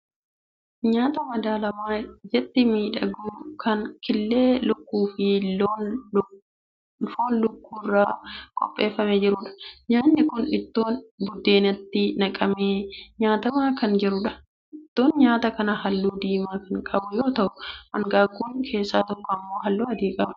Nyaata madaalamaa ijatti miidhagu kan killee lukkuu fi foon lukkuu irraa qopheeffamee jiruudha. Nyaatni kun ittoon biddeenatti naqamee nyaatamaa kana jiruudha. Ittoon nyaata kanaa halluu diimaa kan qabu yoo ta'u hanqaaquun keessaa tokko immoo halluu adii qabdi.